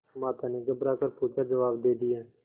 माता ने घबरा कर पूछाजवाब दे दिया